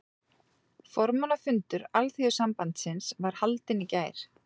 Formannafundur Alþýðusambandsins var haldinn í gær